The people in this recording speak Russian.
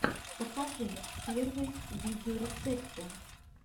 покажи первые видеорецепты